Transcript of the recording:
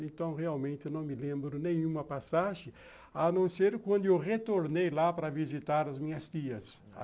Então, realmente, eu não me lembro nenhuma passagem, a não ser quando eu retornei lá para visitar as minhas tias.